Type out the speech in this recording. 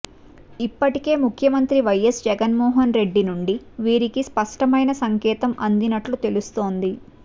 ఇప్పటికే ముఖ్యమంత్రి వైఎస్ జగన్మోహనరెడ్డి నుండి వీరికి స్పష్టమైన సంకేతం అందినట్లు తెలుస్తోంది